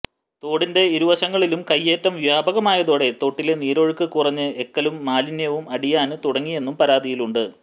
തോടിന്റെ ഇരുവശങ്ങളിലും കൈയ്യേറ്റം വ്യാപകമായതോടെ തോട്ടിലെ നീരൊഴുക്ക് കുറഞ്ഞ് എക്കലും മാലിന്യവും അടിയാന് തുടങ്ങിയെന്നും പരാതിയുണ്ട്